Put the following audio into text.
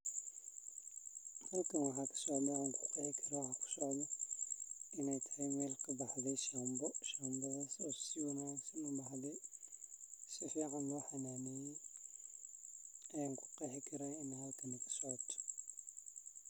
Halkan waxaa kasocdo oo an kuqexi karo maxaa waye in ee kasocoto shanbo oo ee dadka wax utareyso oo dadka ee aad ujecelyihin.